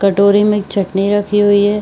कटोरी में एक चटनी रखी हुई है।